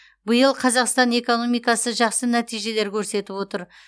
биыл қазақстан экономикасы жқсы нәтижелер көрсетіп отыр